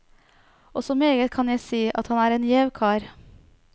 Og så meget kan jeg si, at han er gjev kar.